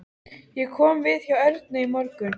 Ég kom við hjá Ernu í morgun.